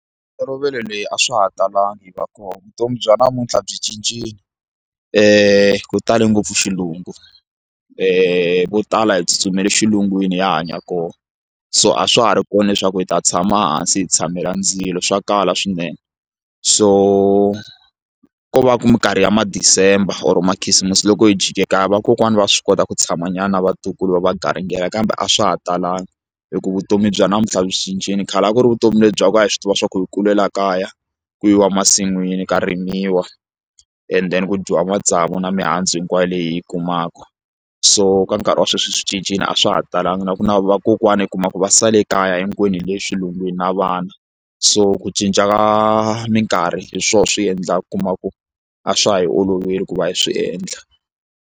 leyi a swa ha talanga yi va kona vutomi bya namuntlha byi cincile ku tale ngopfu xilungu vo tala hi tsutsumele xilungwini ya hanya kona so a swa ha ri kona leswaku hi ta tshama hansi hi tshamela ndzilo swa kala swinene so ko va ku minkarhi ya ma December or makhisimusi loko hi jike kaya vakokwani va swi kota ku tshama nyana na vatukulu va va garingela kambe a swa ha talanga hikuva vutomi bya namuntlha swi cincile khale a ku ri vutomi lebya ku ya hi swi tiva swa ku yi kulela kaya ku yi wa masin'wini ka rimiwa and then ku dyiwa matsavu na mihandzu hinkwayo leyi hi yi kumaku so ka nkarhi wa sweswi swi cincile a swa ha talanga na ku na vakokwani u kuma ku va sale kaya hinkwenu hi le xilungwini na vana so ku cinca ka minkarhi hi swona swi endlaka ku kuma ku a swa ha hi oloveli ku va hi swi endla.